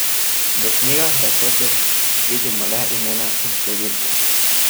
V knjigah rekordov vidimo le imena in številke.